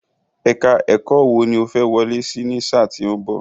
Èka-ẹ̀kọ́ wò ni o fẹ́ wọlé sí ní sáà tí ó ń bọ̀?